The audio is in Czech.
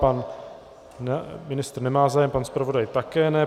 Pan ministr nemá zájem, pan zpravodaj také ne.